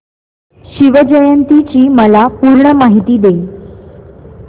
शिवजयंती ची मला पूर्ण माहिती दे